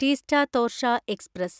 Teesta Torsha express